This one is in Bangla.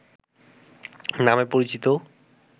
নামে পরিচিত